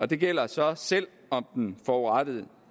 det gælder så selv om den forurettede